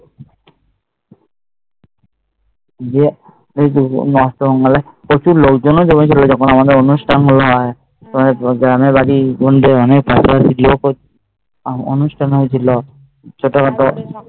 অষ্টমঙ্গলায় প্রচুর লোক জন জমেছিলো গ্রামের বাড়ি মন্দিরে অনুষ্ঠান হৈছিল ছোট খাটো